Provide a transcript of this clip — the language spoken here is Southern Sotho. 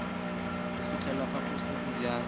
re o fiela phaposi ya